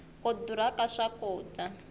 ku durha ka swakudya